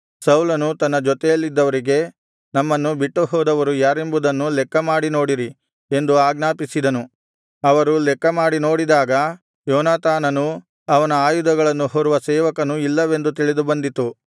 ಸೌಲನು ತನ್ನ ಜೊತೆಯಲ್ಲಿದ್ದವರಿಗೆ ನಮ್ಮನ್ನು ಬಿಟ್ಟುಹೋದವರು ಯಾರೆಂಬುದನ್ನು ಲೆಕ್ಕಮಾಡಿ ನೋಡಿರಿ ಎಂದು ಆಜ್ಞಾಪಿಸಿದನು ಅವರು ಲೆಕ್ಕಮಾಡಿ ನೋಡಿದಾಗ ಯೋನಾತಾನನೂ ಅವನ ಆಯುಧಗಳನ್ನು ಹೊರುವ ಸೇವಕನೂ ಇಲ್ಲವೆಂದು ತಿಳಿದುಬಂದಿತು